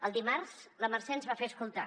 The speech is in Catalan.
el dimarts la mercè ens va fer escoltar